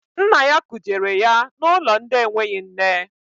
Nna ya kujere ya n'ụlọ ndị enweghị nne.